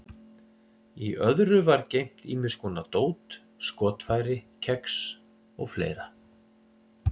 Í öðru var geymt ýmis konar dót, skotfæri, kex og fleira.